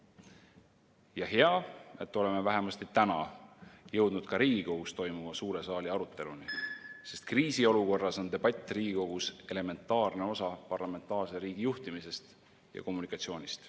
Ja hea, et oleme vähemasti täna jõudnud ka Riigikogus toimuva suure saali aruteluni, sest kriisiolukorras on debatt Riigikogus elementaarne osa parlamentaarse riigi juhtimisest ja kommunikatsioonist.